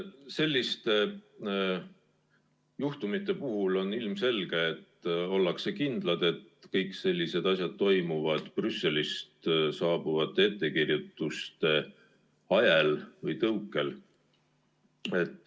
Selliste juhtumite puhul on ilmselge, et ollakse kindlad, et kõik sellised asjad toimuvad Brüsselist saabuvate ettekirjutuste ajel või tõukel.